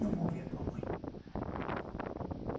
Não vou ver a tua mãe.